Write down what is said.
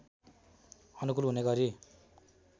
अनुकूल हुने गरी